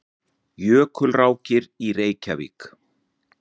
Jökulrákir í Reykjavík.